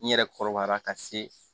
N yɛrɛ kɔrɔbayara ka se